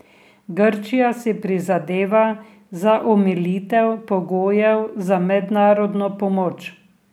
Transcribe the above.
Grčija si prizadeva za omilitev pogojev za mednarodno pomoč.